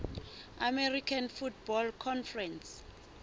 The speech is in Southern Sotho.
american football conference